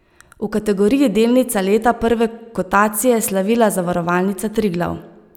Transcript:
V kategoriji delnica leta prve kotacije je slavila Zavarovalnica Triglav.